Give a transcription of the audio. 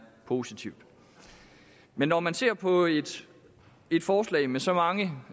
positivt men når man ser på et forslag med så mange